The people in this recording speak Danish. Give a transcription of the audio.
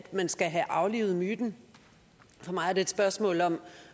man skal have aflivet myten for mig er det et spørgsmål om